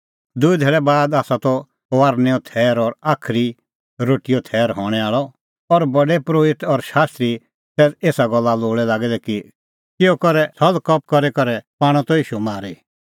दूई धैल़ै बाद आसा त फसहेओ थैर और साज़ी रोटीओ थैर हणैं आल़अ और प्रधान परोहित और शास्त्री तै एसा गल्ला लोल़ै लागै दै कि किहअ करै छ़ल़कपट करी करै पाणअ त ईशू मारी